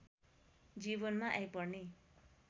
जीवनमा आइपर्ने